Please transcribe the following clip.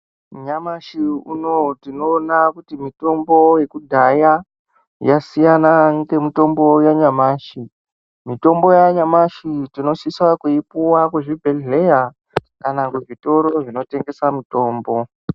Nyamashi unowu tinoona kuti mitombo Yekudhaya yasiyana nemitombo yanyamashi ,mitombo yanyamashi tinosisa kuipuwa kuzvibhedhlera kana kuzvitoro zvinotengesa mitombo.